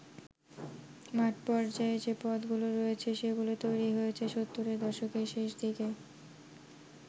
মাঠ পর্যায়ে যে পদগুলো রয়েছে, সেগুলো তৈরী হয়েছে সত্তরের দশকের শেষদিকে।